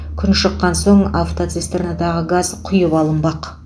күн шыққан соң автоцистернадағы газ құйып алынбақ